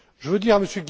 Je veux dire